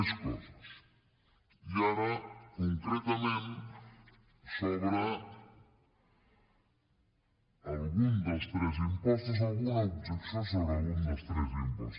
més coses i ara concretament sobre algun dels tres impostos alguna objecció sobre algun dels tres impostos